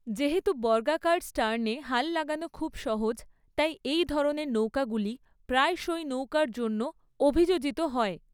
যেহেতু বর্গাকার স্টার্নে হাল লাগানো খুব সহজ, তাই এই ধরনের নৌকাগুলি প্রায়শই নৌকার জন্য অভিযোজিত হয়।